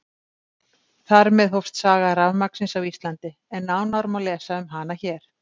Þar með hófst saga rafmagnsins á Íslandi, en nánar má lesa um hana hér.